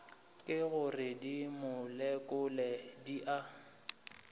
ke gore dimolekule di a